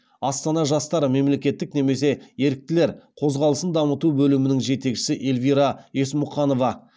астана жастары мемлекеттік немесе еріктілер қозғалысын дамыту бөлімінің жетекшісі эльвира есмұқанова